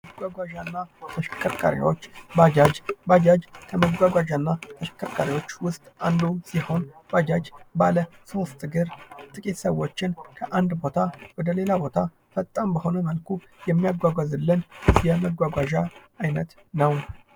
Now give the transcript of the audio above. መጓጓዣና ተሽከርካሪዎች ባጃጅ:- ባጃጅ ከመጓጓዣና ተሽከርካሪዎች ዉስጥ አንዱ ሲሆን ባጃጅ ባለ ሦስት እግር ጥቂት ሰዎችን ከአንድ ቦታ ወደ ሌላ ቦታ ፈጣን በሆነ መልኩ የሚያጓጉዝልን የመጓጓዣ አይነት ነዉ።